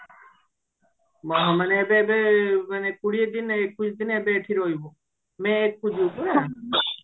ମାନେ ଏବେ ଏବେ ତୁ ମାନେ କୋଡିଏ ଦିନ ଏକୋଇଶି ଦିନ ଏବେ ଏଠି ରହିବୁ may ଏକ କୁ ଯିବୁ ପରା